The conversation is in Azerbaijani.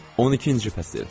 12-ci fəsil.